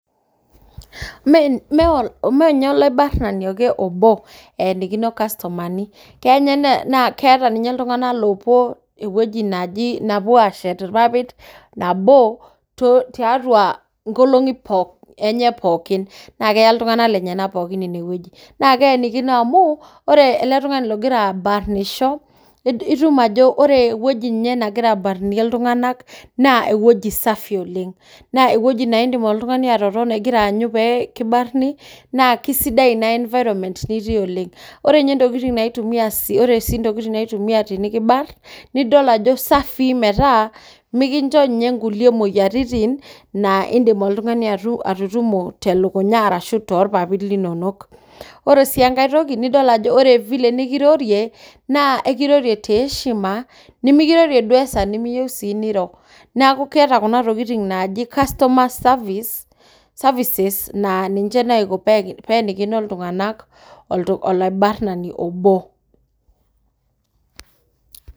Ime ninye alabarnani obo eenikino irkastumani, keeta ninye iltung'ana oopuo ewueji neepuo aashetie irpapit nabo tiatua nkolong'i enye pooki naa keya iltung'ana lenyena pookin ine wueji. naa keenikino amuu ore ele tung'ani ogira abarnisho, itum ajo ore ewueji nagira abarnie iltung'ana naa ewueji safi oleng, naa ewueji naa indim oltung'ani atotona aanyu pee kibarni, naa kisidai ina environment nitii oleng. Naa ore ntokitin naaitumia pee kibarn, naa kisafii mikincho mitum imoyiaritin naa indim oltung'ani anoto te lukunya ashuu too irpapit linono. Ore sii enkae toki ore sii file nikirorie, ekirorie te eeshima nimikirorie esaa nimeyieu niro neeku keeta kunatokitin naaji customer services pee eenikino iltung'ana olabarnani obo.